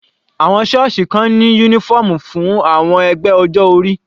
Àwọn sọ́ọ̀sì kan ní uniform fún àwọn ẹgbẹ́ ọjọ́ orí.